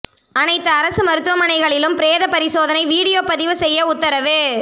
அனைத்து அரசு மருத்துவமனைகளிலும் பிரேத பரிசோதனை வீடியோ பதிவு செய்ய உத்தரவு